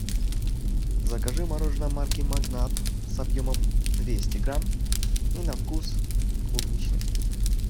закажи мороженое марки магнат с объемом двести грамм и на вкус клубничный